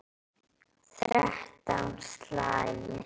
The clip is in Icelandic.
Þrettán slagir.